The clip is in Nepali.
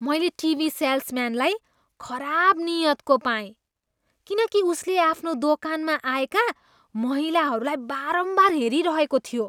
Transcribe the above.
मैले टिभी सेल्सम्यानलाई खराब नियतको पाएँ किनकि उसले आफ्नो दोकानमा आएका महिलाहरूलाई बारम्बार हेरिरहेको थियो।